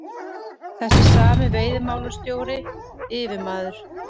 Þessi sami veiðimálastjóri, yfirmaður